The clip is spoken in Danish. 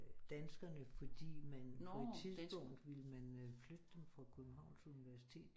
Danskerne fordi man på et tidspunkt ville man øh flytte dem fra Københavns universitet